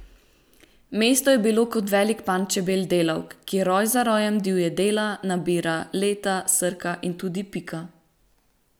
Mesto je bilo kot velik panj čebel delavk, kjer roj za rojem divje dela, nabira, leta, srka in tudi pika.